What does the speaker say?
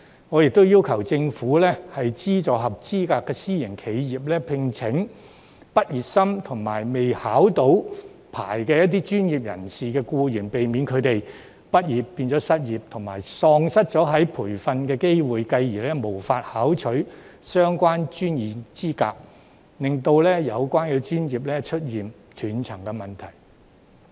我又要求政府資助合資格的私營企業聘請畢業生及未獲牌照的專業僱員，以免他們畢業變成失業，喪失培訓機會，繼而無法考取相關的專業資格，令有關的專業出現斷層。